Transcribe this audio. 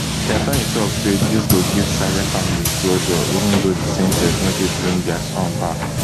di attorney tok say dis go give saleh family closure even though di sen ten ce no fit bring dia son back